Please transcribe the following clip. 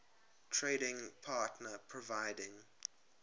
trading partner providing